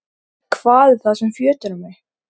Hvað er það sem fjötrar mig?